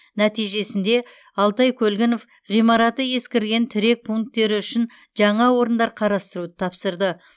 нәтижесінде алтай көлгінов ғимараты ескірген тірек пунктері үшін жаңа орындар қарастыруды тапсырды